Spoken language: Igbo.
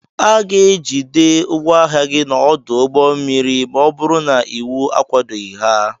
A ga-ejide ngwa ahịa gị n'ọdụ ụgbọ mmiri ma ọ bụrụ na iwu akwadoghị ha